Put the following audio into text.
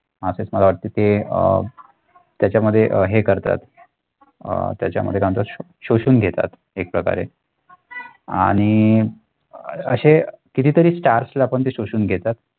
असेच मला वाटते ते अह त्याच्यामध्ये अह हे करतात अह त्याच्यामध्ये काय म्हणतात शोषून घेतात एक प्रकारे आणि अशे किती तरी stars ला पण ते शोषून घेतात.